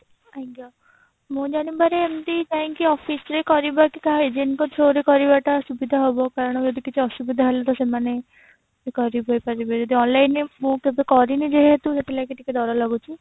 ଆଜ୍ଞା ମୋ ଜାଣିବାରେ ଏମତି ଯାଇକି office ରେ କରିବା କି କାହା agent ଙ୍କ through ରେ କରିବା ଟା ସୁବିଧା ହେବ କାରଣ ଯଦି କିଛି ଅସୁବିଧା ହେଲା ତ ସେମାନେ କରିଦେଇ ପାରିବେ କିନ୍ତୁ online ରେ ମୁଁ କେବେ କରିନି ଯେହେତୁ ସେଥିଲାଗି ଟିକେ ଡର ଲାଗୁଛି